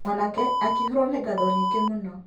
Mwanake akĩihũrwo nĩ ngatho nyingĩ mũno.